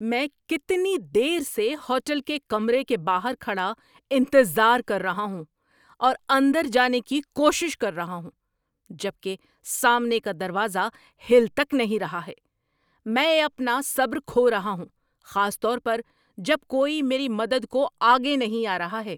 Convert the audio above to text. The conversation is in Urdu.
میں کتنی دیر سے ہوٹل کے کمرے کے باہر کھڑا انتظار کر رہا ہوں اور اندر جانے کی کوشش کر رہا ہوں، جب کہ سامنے کا دروازہ ہل تک نہیں رہا ہے! میں اپنا صبر کھو رہا ہوں، خاص طور پر جب کوئی میری مدد کو آگے نہیں آ رہا ہے۔